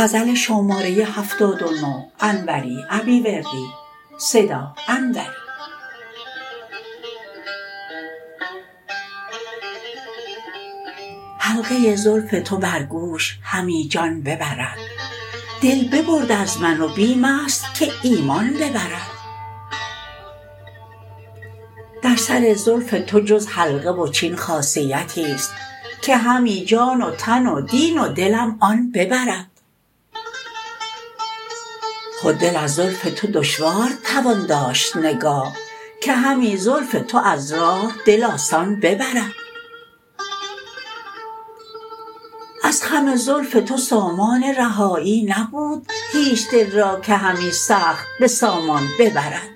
حلقه زلف تو بر گوش همی جان ببرد دل ببرد از من و بیمست که ایمان ببرد در سر زلف تو جز حلقه و چین خاصیتی است که همی جان و تن و دین و دلم آن ببرد خود دل از زلف تو دشوار توان داشت نگاه که همی زلف تو از راه دل آسان ببرد از خم زلف تو سامان رهایی نبود هیچ دل را که همی سخت به سامان ببرد